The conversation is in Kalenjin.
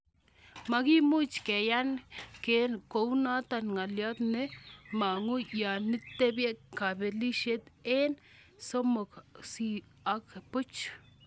Makimuch keyan ke kunitok, ngaliot ne mangu yanipeti kabelishiet aeng' 3-0.